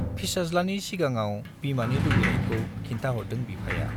फिसाज्लानि सिगाङाव बिमानि लुबैनायखौ खिन्थाहरदों बिफाया।